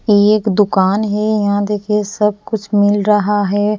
ये एक दुकान है यहां देखिए सब कुछ मिल रहा है।